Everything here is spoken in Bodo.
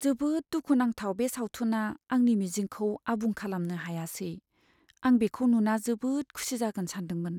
जोबोद दुखु नांथाव बे सावथुना आंनि मिजिंखौ आबुं खालामनो हायासै। आं बेखौ नुना जोबोद खुसि जागोन सानदोंमोन।